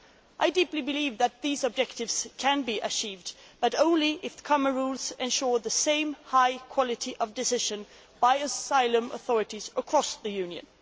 I deeply believe that these objectives can be achieved, but only if the common rules ensure the same high quality of decision by asylum authorities across the Union.